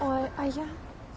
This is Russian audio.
а а я